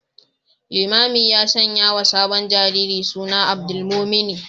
Limamin ya sanyawa sabon jariri suna Abdulmumuni